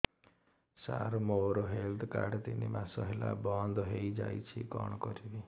ସାର ମୋର health card ତିନି ମାସ ହେଲା ବନ୍ଦ ହେଇଯାଇଛି କଣ କରିବି